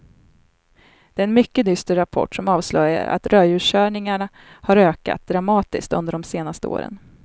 Det är en mycket dyster rapport som avslöjar att rödljuskörningarna har ökat dramatiskt under de senaste åren.